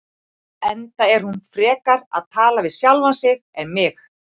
Enda er hún frekar að tala við sjálfa sig en mig.